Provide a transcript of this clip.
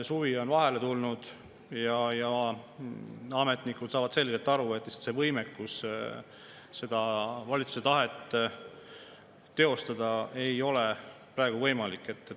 Suvi on vahele tulnud ja ametnikud saavad selgelt aru, et seda valitsuse tahet teostada ei ole praegu võimalik.